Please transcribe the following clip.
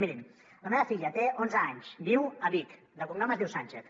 mirin la meva filla té onze anys viu a vic de cognom es diu sánchez